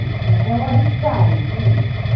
É o arriscar, entende?